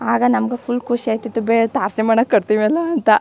ಆಗ ನಮ್ಗು ಫುಲ್ ಆಯ್ತಿತ್ತು ಬೇಡ್ ತಾರ್ಸಿ ಮನೆ ಕಟ್ತೀವಲ್ಲ ಅಂತ.